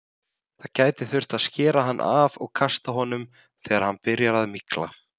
Það gæti þurft að skera hann af og kasta honum þegar hann byrjar að mygla.